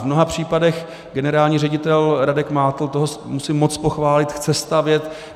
V mnoha případech generální ředitel Radek Mátl - toho musím moc pochválit - chce stavět.